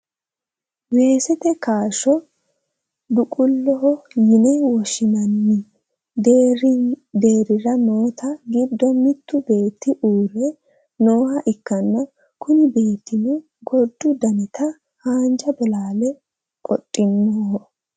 weesete kaashsho duquloho yine woshshinanni deerrira noote giddo mittu beetti uurre nooha ikkanna, kuni beettino gordu danita haanja bolaale qodinoho.